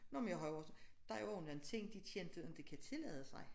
Nå men jeg har jo også der er jo også nogen ting de kendte ikke kan tillade sig